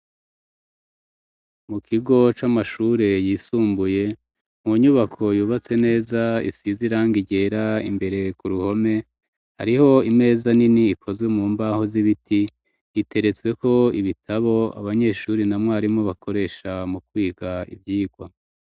Mu kigo c'amashure yisumbuye, mu nyubako yubatse neza isize irangi ryera, imbere ku ruhome hariho imeza nini ikozwe mu mbaho z'ibiti, iteretsweko ibitabo abanyeshuri na mwarimu bakoresha mu kwiga ivyigwa.